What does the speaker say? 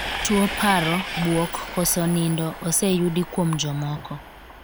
Tuo paro, buok, koso nindo ose yudi kuom jomoko.